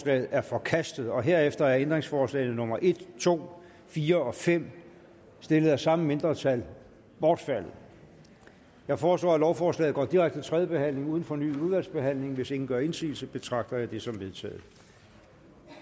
er forkastet herefter er ændringsforslagene nummer en to fire og fem stillet af samme mindretal bortfaldet jeg foreslår at lovforslaget går direkte til tredje behandling uden fornyet udvalgsbehandling hvis ingen gør indsigelse betragter det som vedtaget